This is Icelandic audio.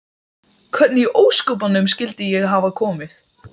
Hvernig í ósköpunum skyldi ég hafa komið